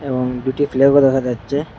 এবং দুইটি ফ্ল্যাগও দেখা যাচ্ছে।